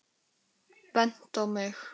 Bent á mig!